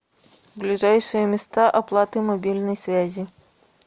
ближайшие места оплаты мобильной связи